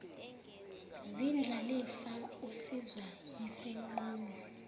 zindlalifa usizwa yisinqumo